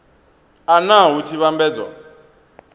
a nha hu tshi vhambedzwa